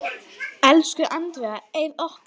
Elsku Andrea Eir okkar.